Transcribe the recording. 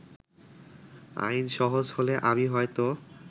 আইন সহজ হলে আমি হয়তো